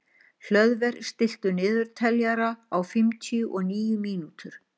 Hlöðver, stilltu niðurteljara á fimmtíu og níu mínútur.